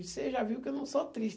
Você já viu que eu não sou triste.